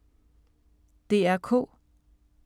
DR K